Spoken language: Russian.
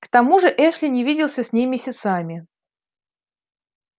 к тому же эшли не виделся с ней месяцами